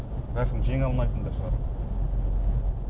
бәлкім жеңе алмайтын да шығар